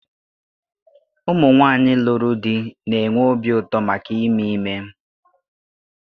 Ụmụ nwanyị lụrụ di na-enwe obi ụtọ maka ime ime